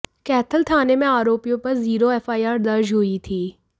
कैथल थाने में आरोपियों पर जीरो एफआईआर दर्ज हुई थी